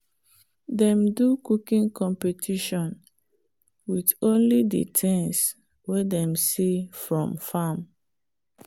dem do cooking competition with only the things way them see from farm